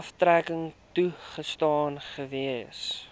aftrekking toegestaan gewees